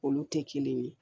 Olu tɛ kelen ye